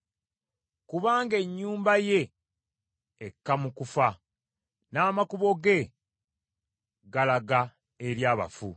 Kubanga ennyumba ye ekka mu kufa, n’amakubo ge galaga eri abafu.